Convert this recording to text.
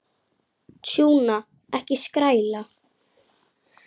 Tjúna, ekki skræla.